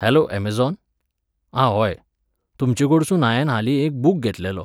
Hello Amazon? आं व्होय, तुमचेकोडसून हांयेन हालीं एक बूक घेतलेलो.